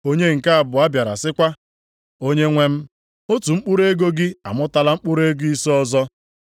“Onye nke abụọ bịara sịkwa, ‘Onyenwe m, otu mkpụrụ ego gị amụtala mkpụrụ ego ise ọzọ.’